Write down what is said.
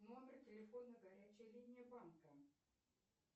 номер телефона горячей линии банка